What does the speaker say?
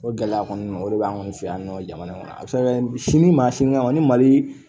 O gɛlɛya kɔni o de b'anw fɛ yan nɔ jamana in kɔnɔ a bɛ se ka kɛ sini maa sini ma ni mali